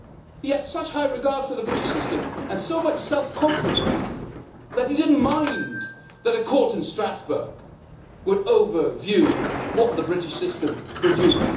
He had such high regard for the British system, and so much self confidence, that he did not mind a court in Strasbourg having oversight over what the British system produced.